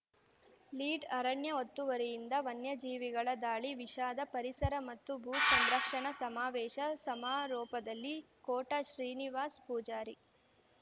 lead ಅರಣ್ಯ ಒತ್ತುವರಿಯಿಂದ ವನ್ಯಜೀವಿಗಳ ದಾಳಿ ವಿಷಾದ ಪರಿಸರ ಮತ್ತು ಭೂ ಸಂರಕ್ಷಣಾ ಸಮಾವೇಶ ಸಮಾರೋಪದಲ್ಲಿ ಕೋಟಾ ಶ್ರೀನಿವಾಸ್‌ ಪೂಜಾರಿ